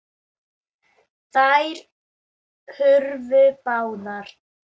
Þær hurfu báðar.